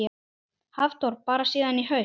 Hafþór: Bara síðan í haust?